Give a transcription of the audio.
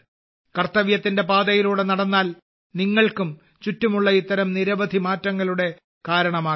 കർത്തവ്യത്തിന്റെ പാതയിലൂടെ നടന്നാൽ നിങ്ങൾക്കും ചുറ്റുമുള്ള ഇത്തരം നിരവധി മാറ്റങ്ങളുടെ കാരണമാകാം